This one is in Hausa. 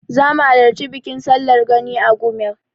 Zamu halarci bikin sallar Gani a Gumel.